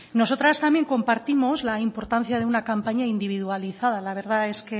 nosotras también compartimos la importancia de una campaña individualizada la verdad es